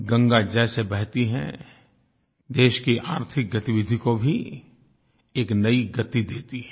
गंगा जैसे बहती है देश की आर्थिक गतिविधि को भी एक नयी गति देती है